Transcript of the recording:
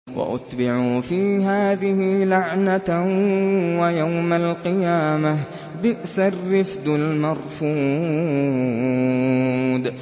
وَأُتْبِعُوا فِي هَٰذِهِ لَعْنَةً وَيَوْمَ الْقِيَامَةِ ۚ بِئْسَ الرِّفْدُ الْمَرْفُودُ